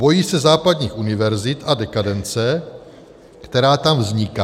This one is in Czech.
Bojí se západních univerzit a dekadence, která tam vzniká.